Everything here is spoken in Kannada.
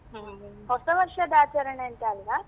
ಹ್ಮ್ ಹ್ಮ್ ಹೊಸವರ್ಷದ ಆಚರಣೆ ಅಂತ ಅಲ್ಲ.